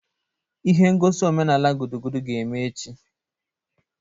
Ihe ngosi omenala gudugudu ga-eme echi.